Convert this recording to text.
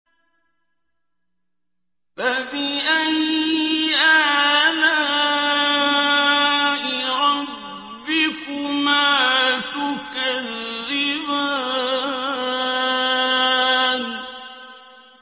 فَبِأَيِّ آلَاءِ رَبِّكُمَا تُكَذِّبَانِ